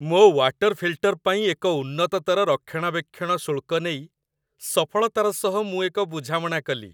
ମୋ water filter ପାଇଁ ଏକ ଉନ୍ନତତର ରକ୍ଷଣାବେକ୍ଷଣ ଶୁଳ୍କ ନେଇ ସଫଳତାର ସହ ମୁଁ ଏକ ବୁଝାମଣା କଲି।